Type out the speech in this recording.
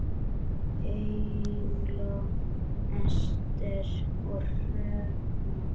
Eygló, Ester og Hrefna.